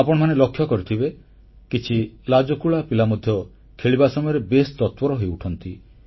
ଆପଣମାନେ ଲକ୍ଷ୍ୟ କରିଥିବେ କିଛି ଲାଜକୁଳା ପିଲା ମଧ୍ୟ ଖେଳିବା ସମୟରେ ବେଶ୍ ତତ୍ପର ହୋଇଉଠନ୍ତି